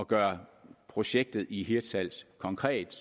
gøre projektet i hirtshals konkret